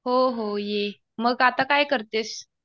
हो हो ये. मग आता काय करतेस?